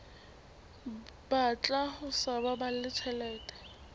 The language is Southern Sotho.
batla ho sa baballe tjhelete